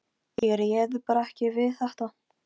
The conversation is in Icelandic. Þremur mánuðum síðar kom fyrsti kossinn.